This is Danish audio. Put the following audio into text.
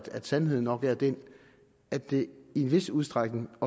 at sandheden nok er den at det i en vis udstrækning